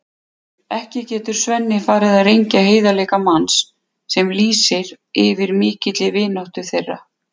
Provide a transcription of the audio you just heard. Ekki getur Svenni farið að rengja heiðarleika manns sem lýsir yfir mikilli vináttu þeirra.